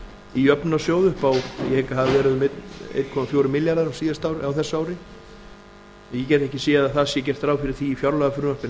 í jöfnunarsjóð ég hygg að það hafi verið einn komma fjórir milljarðar á þessu ári ég get ekki séð að það sé gert ráð fyrir því í fjárlagafrumvarpi